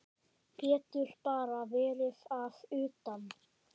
Getur bara verið að utan.